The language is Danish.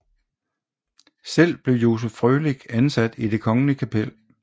Selv blev Joseph Frølich ansat i Det Kongelige Kapel